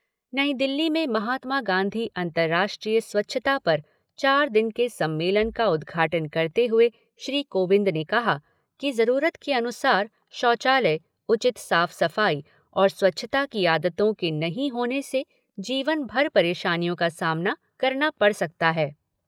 नई दिल्ली में महात्मा गांधी अन्तर्राष्ट्रीय स्वच्छता पर चार दिन के सम्मेलन का उदघाटन करते हुए श्री कोविंद ने कहा कि जरूरत के अनुसार शौचालय, उचित साफ सफाई और स्वच्छता की आदतों के नहीं होने से जीवन भर परेशानियों का सामना करना पड़ सकता है।